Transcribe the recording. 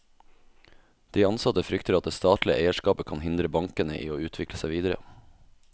De ansatte frykter at det statlige eierskapet kan hindre bankene i å utvikle seg videre.